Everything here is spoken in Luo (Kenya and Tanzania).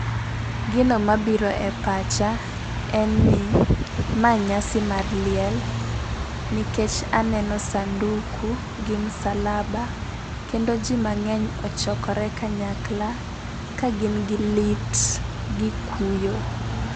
Gino mabiro e pacha en ni ma nyasi mar liel nikech aneno sanduku gi msalaba kendo jii mang'eny ochokore kanyakla ka gin gi lit gi kuyo.